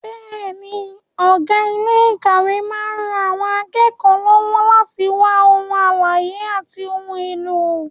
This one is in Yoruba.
Bẹ́ẹ̀ni, ọ̀gá ilé ìkàwé máa ń ran àwọn akẹ́kọ̀ọ́ lọ́wọ́ láti wá ohun àlàyé àti ohun èlò.